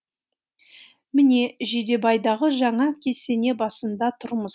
міне жидебайдағы жаңа кесене басында тұрмыз